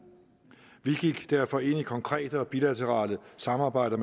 vi gik derfor ind i et konkret og bilateralt samarbejde